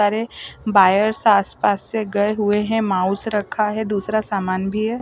सारे वायर्स आस पास से गए हुए हैं माउस रखा है दूसरा सामान भी है।